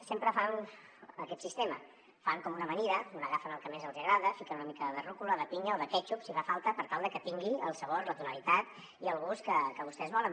sempre fan aquest sistema fan com una amanida on agafen el que més els hi agrada fiquen una mica de ruca de pinya o de quètxup si fa falta per tal de que tingui el sabor la tonalitat i el gust que vostès volen